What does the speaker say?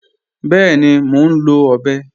Bẹẹ̀ni, mó nlọ̀ ọbẹ